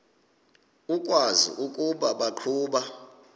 ukwazi ukuba baqhuba